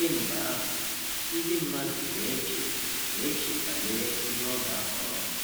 Kemgbe ahụ, ndị mmadụ na-eche na-eche banyere onye ọ ga-ahọrọ.